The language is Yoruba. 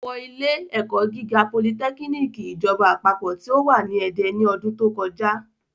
Ó wọ lẹ́ sí ilé ẹ̀kọ́ gíga politẹ́kínìkì ìjọba àpapọ̀ tí ó wà ní Ede ní ọdún tó kọjá